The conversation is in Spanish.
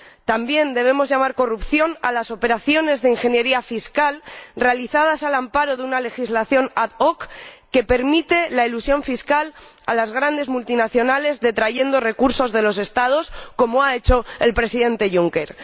También debemos llamar corrupción a las operaciones de ingeniería fiscal realizadas al amparo de una legislación ad hoc que permite la elusión fiscal a las grandes multinacionales, detrayendo recursos de los Estados, como ha hecho el Presidente Juncker.